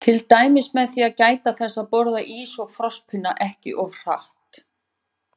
Til dæmis með því að gæta þess að borða ís og frostpinna ekki of hratt.